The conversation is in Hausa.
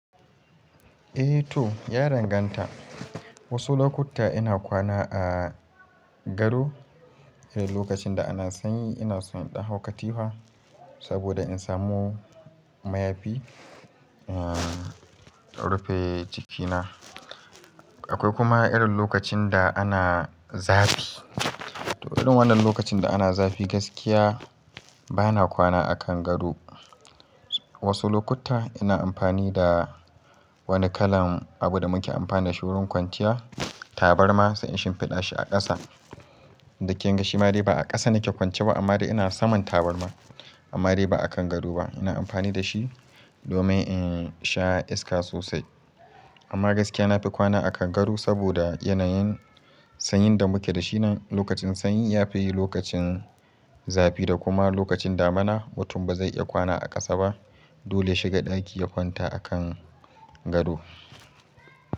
Eh to ya danganta. Wasu lokuta ina kwana a gado. Eh lokacin da ana sanyi ina son in dan hau katifa saboda in samu mayafi, rufe jikina. Akwai kuma irin lokacin da ana zafi. To irin wannan lokacin da ana zafi gaskiya bana kwana a kan gado. Wasu lokuta ina amfani da wani kalan abu da muke amfani da shi wurin kwanciya, tabarma sai in shinfiɗa shi a ƙasa. Inda kinga shi ma dai ba a ƙasa nake kwance ba amma dai ina saman tabarma amma dai ba a kan gado ba. Ina amfani da shi domin in sha iska sosai. Amma gaskiya na fi kwana a kan gado saboda yanayin sanyin da muke da shi nan. Lokacin sanyi ya fi yi lokacin zafi da kuma lokacin damuna mutum ba zai' iya kwana a ƙasa ba. Dole ya shiga ɗaki ya kwanta a kan gado.